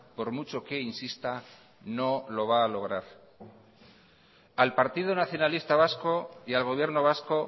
por mucho que insista no lo va a lograr al partido nacionalista vasco y al gobierno vasco